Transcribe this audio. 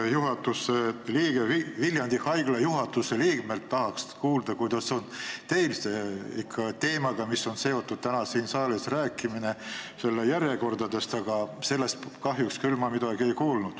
Ma tahtsin Viljandi Haigla juhatuse liikmelt teada saada, kuidas on teil sellega, mis on tänase arutelu teema, nimelt ravijärjekorrad, aga sellest ma kahjuks küll midagi ei kuulnud.